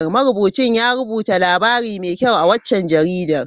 Marubucin ya rubuta labari mai kyau a waccan jaridar.